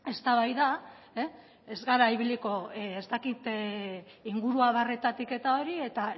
eztabaida ez gara ibiliko ez dakit inguru abarretatik eta hori eta